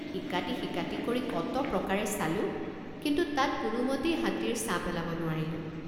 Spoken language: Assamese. ইকাতিসিকাতি কৰি কত প্ৰকাৰে চালোঁ কিন্তু তাত কোনোমতেই হাতীৰ ছাঁ পেলাব নোৱাৰিলোঁ।